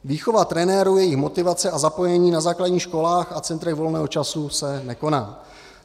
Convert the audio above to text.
Výchova trenérů, jejich motivace a zapojení na základních školách a centrech volného času se nekoná.